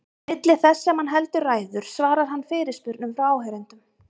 Milli þess sem hann heldur ræður svarar hann fyrirspurnum frá áheyrendum.